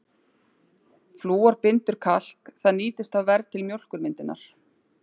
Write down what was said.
Flúor bindur kalk, það nýtist þá verr til mjólkurmyndunar.